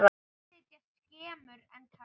Konur sitja skemur en karlar.